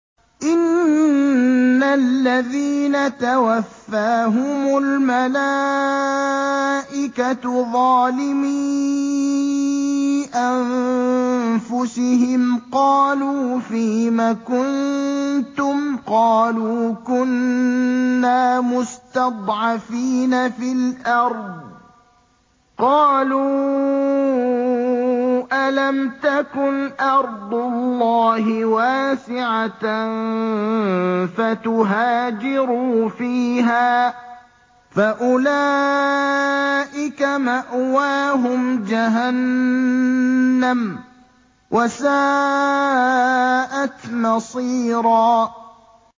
إِنَّ الَّذِينَ تَوَفَّاهُمُ الْمَلَائِكَةُ ظَالِمِي أَنفُسِهِمْ قَالُوا فِيمَ كُنتُمْ ۖ قَالُوا كُنَّا مُسْتَضْعَفِينَ فِي الْأَرْضِ ۚ قَالُوا أَلَمْ تَكُنْ أَرْضُ اللَّهِ وَاسِعَةً فَتُهَاجِرُوا فِيهَا ۚ فَأُولَٰئِكَ مَأْوَاهُمْ جَهَنَّمُ ۖ وَسَاءَتْ مَصِيرًا